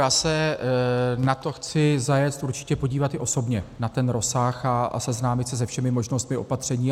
Já se na to chci zajet určitě podívat i osobně, na ten rozsah, a seznámit se se všemi možnostmi opatření.